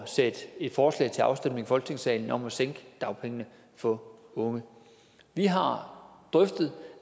sætte et forslag til afstemning i folketingssalen om at sænke dagpengene for unge vi har drøftet